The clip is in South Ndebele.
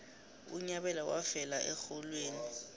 unyabela wafela exholweni